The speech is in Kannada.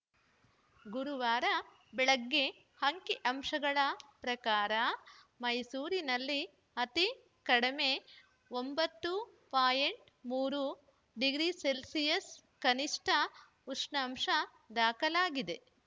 ಗುರುವಾರ ಬೆಳಗ್ಗೆ ಅಂಕಿ ಅಂಶಗಳ ಪ್ರಕಾರ ಮೈಸೂರಿನಲ್ಲಿ ಅತಿ ಕಡಿಮೆ ಒಂಬತ್ತು ಪಾಯಿಂಟ್ ಮೂರು ಡಿಗ್ರಿ ಸೆಲ್ಸಿಯಸ್‌ ಕನಿಷ್ಠ ಉಷ್ಣಾಂಶ ದಾಖಲಾಗಿದೆ